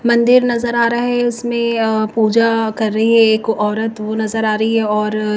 मंदिर नजर आ रहा है उसमें पूजा कर रही है एक औरत वो नजर आ रही है और--